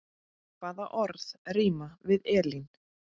Hvaða orð rímar við Elín?